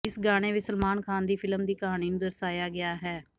ਇਸ ਗਾਣੇ ਵਿਚ ਸਲਮਾਨ ਖ਼ਾਨ ਦੀ ਫਿਲਮ ਦੀ ਕਹਾਣੀ ਨੂੰ ਦਰਸਾਇਆ ਗਿਆ ਹੈ